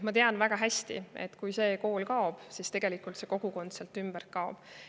Ma tean väga hästi, et kui see kool kaob, siis tegelikult see kogukond sealt ümbert kaob.